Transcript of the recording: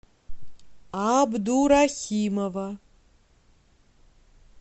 абдурахимова